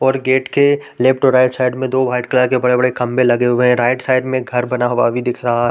--और गेट के लेफ्ट और राइट साइड दो वाइट कलर के दो बड़े-बड़े खंभे लगे हुए है राइट साइड में घर बना हुआ भी दिख रहा है।